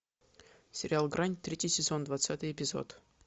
сериал грань третий сезон двадцатый эпизод